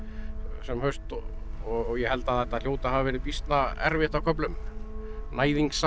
sem haust og og ég held að þetta hljóti að hafa verið býsna erfitt á köflum